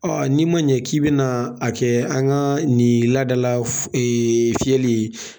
n'i ma ɲɛ k'i bɛna a kɛ an ka nin ladala fiyɛli ye